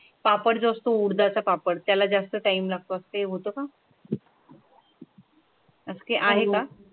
पापड जास्त ऊर्जा चा पण त्याला जास्त टायम लागतात ते का? धसकी आहे का?